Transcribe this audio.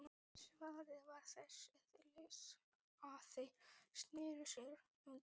Svarið var þess eðlis að þeir sneru sér undan.